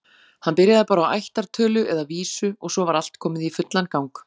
Hann byrjaði bara á ættartölu, eða vísu, og svo var allt komið í fullan gang.